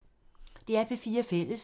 DR P4 Fælles